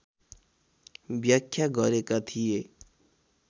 व्याख्या गरेका थिए